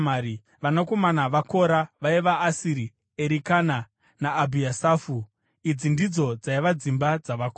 Vanakomana vaKora vaiva Asiri, Erikana naAbhiasafu. Idzi ndidzo dzaiva dzimba dzavaKora.